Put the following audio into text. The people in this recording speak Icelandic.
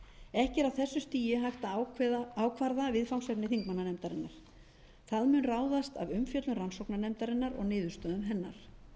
þessu stigi hægt að ákvarða viðfangsefni þingmannanefndarinnar það mun ráðast af umfjöllun rannsóknarnefndarinnar og niðurstöðum hennar